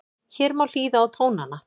Hér má hlýða á tónana